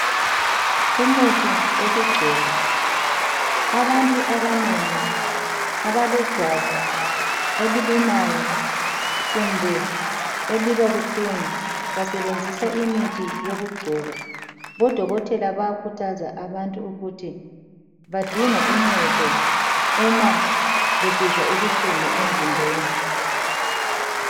Umuthi wokugcoba abantu abanengi abalejwabu elilumayo kumbe eliba buhlungu basebenzisa imithi yokugcoba. Odokotela bayakuthaza abantu ukuthi badinge uncedo uma besizwa ubuhlungu emzimbeni.